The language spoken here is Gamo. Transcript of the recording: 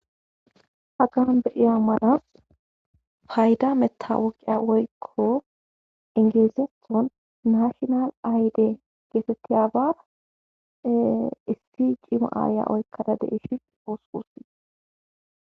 hagaan be'iha malas fayda mettawoqiya oykko ingeesethon nashonal ayde geetettiya ba isti ciima aaya oykkada de ishi oosuusi